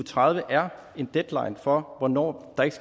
tredive er deadline for hvornår der ikke